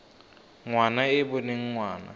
ngwana e e boneng ngwana